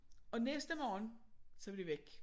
Og næste morgen så var de væk